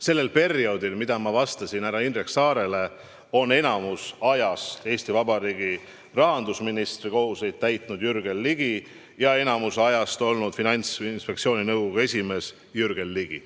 Sellel perioodil, nagu ma ütlesin härra Indrek Saarele vastates, on enamiku ajast Eesti Vabariigi rahandusministri kohustusi täitnud Jürgen Ligi ja enamiku ajast olnud Finantsinspektsiooni nõukogu esimees Jürgen Ligi.